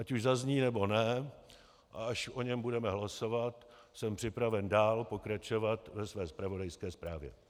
Ať už zazní, nebo ne, a až o něm budeme hlasovat, jsem připraven dál pokračovat ve své zpravodajské zprávě.